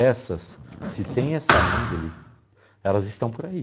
Essas, se tem essa índole, elas estão por aí.